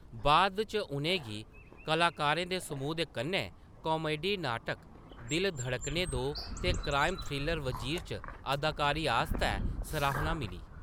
बाद इच उʼनें गी कलाकारें दे समूह् दे कन्नै कामेडी नाटक 'दिल धड़कने दो' ते क्राइम थ्रिलर 'वजीर' च अदाकारी आस्तै सराह्‌ना मिली।